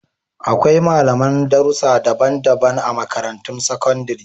Akwai malaman darussa daban-daban a Makarantun Sakandare